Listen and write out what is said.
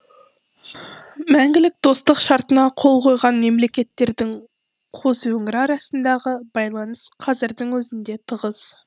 мәңгілік достық шартына қол қойған мемлекеттердің қос өңірі арасындағы байланыс қазірдің өзінде тығыз